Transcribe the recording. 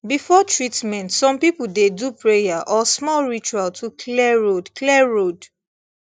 before treatment some people dey do prayer or small ritual to clear road clear road